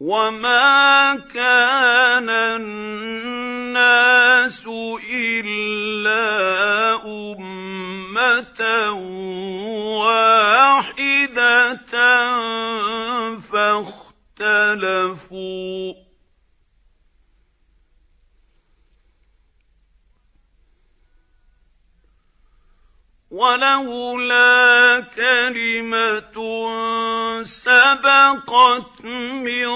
وَمَا كَانَ النَّاسُ إِلَّا أُمَّةً وَاحِدَةً فَاخْتَلَفُوا ۚ وَلَوْلَا كَلِمَةٌ سَبَقَتْ مِن